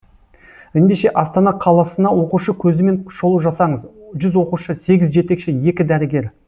ендеше астана қаласына оқушы көзімен шолу жасаңыз жүз оқушы сегіз жетекші екі дәрігер